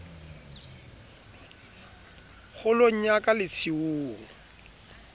kgolong ya ka le tshiung